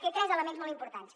té tres elements molt importants